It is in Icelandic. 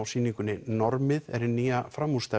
sýningunni normið er hin nýja